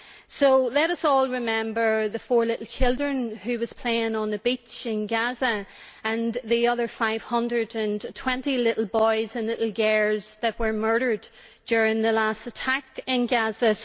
So let us all remember the four little children who were playing on the beach in Gaza and the other 520 little boys and little girls that were murdered during the last attack in Gaza.